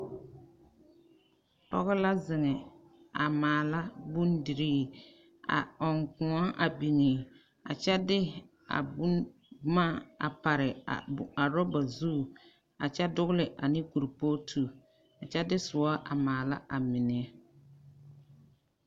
Pɔg la zeŋe a maala bondirii, a ɔŋ kõɔ a biŋi, a kyɛ de a bon boma a pare bo a rɔba zu, a kyɛ dogele ane kupooti, a kyɛ de soɔ a maala a mine